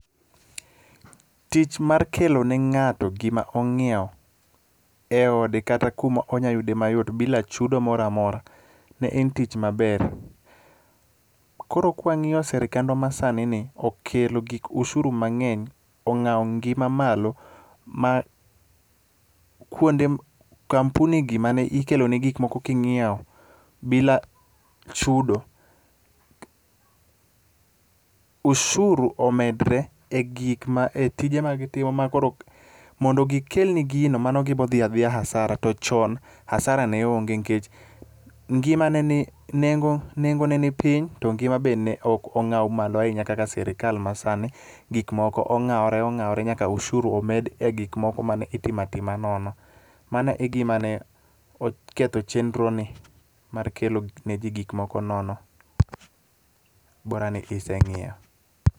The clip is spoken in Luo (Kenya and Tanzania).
Tich mar kelo ne ng'ato gima ong'iewo e ode kata kumo nyalo yude mayot bila chudo mora mora en tich maber. Koro kw ng'iyo sirikandwa masanini, okelo gik osuru mang'eny, ong'awo ngima malo ma kampuni gi mane ikeloni gikmoko king'iewo bila chudo, ushuru omedre e tije magitimo ma koro, mondo gikelni gino mano gibo dhi adhiya hasara to chon, hasara ne onge, nikech nengo ne ni piny to ngima be ne ok ong'aw malo ahinya kaka sirikal masani. Gikmoko ong'awore ong'awore nyaka ushuru omed e gikmoko mane itimo atima nono. Mano e gima ne oketho chenroni, mar kelo ne ji gik moko nono.